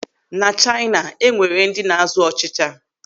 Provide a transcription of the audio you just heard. Na Chaina, e nwere ndị na-azụ ọchịcha.